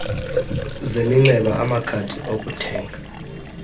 zeminxeba amakhadi okuthenga